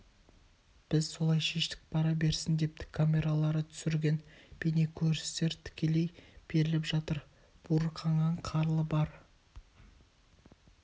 біз солай шештік бара берсін депті камералары түсірген бейне-көріністер тікелей беріліп жатыр буырқанған қарлы бар